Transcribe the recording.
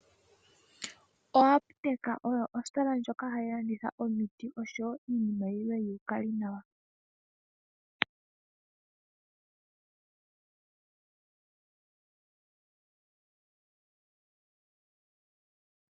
Oapteka oyo ositola ndjoka hayi landitha omiti oshowo iinima yilwe yuukalinawa.